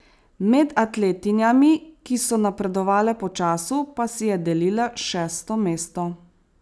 Med atletinjami, ki so napredovale po času, pa si je delila šesto mesto.